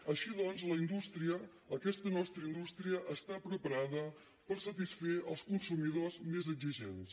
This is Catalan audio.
així doncs la indústria aquesta nostra indústria està preparada per satisfer els consumidors més exigents